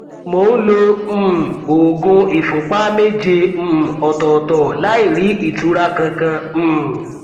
mo ń lo um oògùn ìfúnpá méje um ọtọọtọ láì rí ìtura kankan um